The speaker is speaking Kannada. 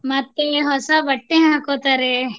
ಮತ್ತೆ ಹೊಸ ಬಟ್ಟೆ ಹಾಕೊತಾರೆ.